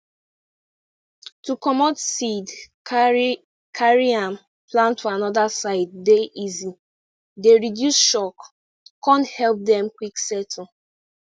to comot seed carry carry am plant for anoda side dey easy dey reduce shock con help dem quick settle